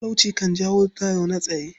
Talauci kan jawo tayar-da-zaune-tsaye.